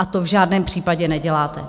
A to v žádném případě neděláte.